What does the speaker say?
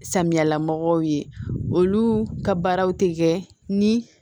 Samiyala mɔgɔw ye olu ka baaraw tɛ kɛ ni